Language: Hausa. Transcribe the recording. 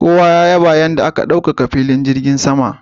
Kowa ya yaba a kan yadda aka ɗaukaka filin jirgin saman.